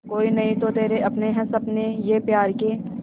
कोई नहीं तो तेरे अपने हैं सपने ये प्यार के